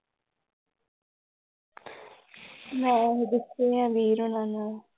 ਮੈਂ ਗੁੱਸੇ ਹੈ ਵੀਰ ਹੋਣਾ ਨਾਲ।